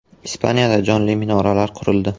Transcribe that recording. Ispaniyada “jonli minoralar” qurildi .